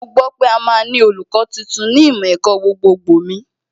Mo gbọ́ pé a máa ní olùkọ́ tuntun ní ìmọ̀ ẹ̀kọ́ gbogbogbò mi